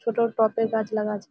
ছোট টব -এ গাছ লাগা আছে।